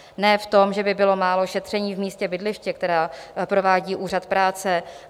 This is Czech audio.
Ne v tom, že by bylo málo šetření v místě bydliště, která provádí úřad práce.